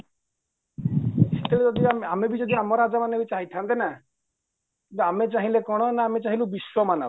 ସେତେବେଳେ ଯଦି ଆମେ ଆମେବି ଆମ ରାଜାମାନେ ଚାହିଁଥାନ୍ତେ ନା ତ ଆମେ ଚାହିଁଲୁ କ'ଣ ଆମେ ଚାହିଁଲୁ ବିଶ୍ୱ ମାନବ